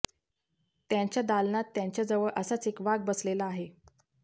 त्यांच्या दालनात त्यांच्याजवळ असाच एक वाघ बसलेला असे